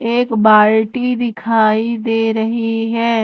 एक बाल्टी दिखाई दे रही हैं।